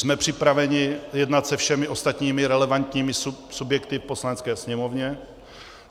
Jsme připraveni jednat se všemi ostatními relevantními subjekty v Poslanecké sněmovně.